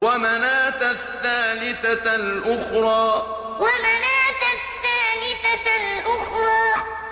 وَمَنَاةَ الثَّالِثَةَ الْأُخْرَىٰ وَمَنَاةَ الثَّالِثَةَ الْأُخْرَىٰ